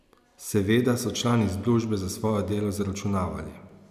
Seveda so člani združbe za svoje delo zaračunavali.